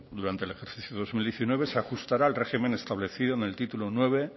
durante el ejercicio dos mil diecinueve se ajustará al régimen establecido en el título nueve